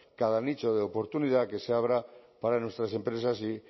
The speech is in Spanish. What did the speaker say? cada nicho de oportunidad que se abra para nuestras empresas y